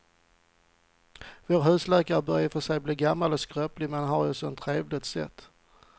Vår husläkare börjar i och för sig bli gammal och skröplig, men han har ju ett sådant trevligt sätt!